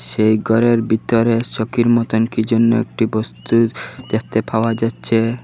সেই ঘরের ভিতরে চৌকির মতন কী যেন একটি বস্তু দেখতে পাওয়া যাচ্ছে।